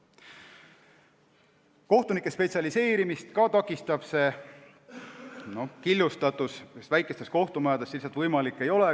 See takistab ka kohtunike spetsialiseerumist, sest väikestes kohtumajades see lihtsalt võimalik ei ole.